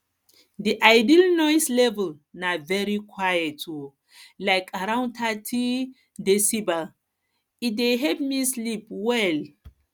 di ideal noise level na very quiet um like around thirty decibels e dey help me sleep well